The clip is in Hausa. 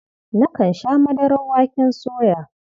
Nakan sha madarar waken soya.